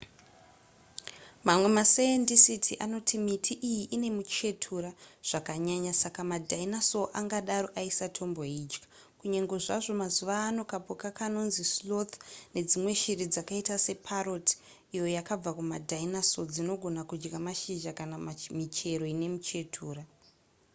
mamwe masaendisiti anoti miti iyi ine muchetura zvakanyanya saka madinosaur angangodaro aisatomboidya kunyange zvazvo mazuva ano kapuka kanonzi sloth nedzimwe shiri dzakaita separrot iyo yakabva kumadinosaur dzinogona kudya mashizha kana michero ine muchetura